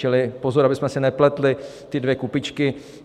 Čili pozor, abychom si nepletli ty dvě kupičky.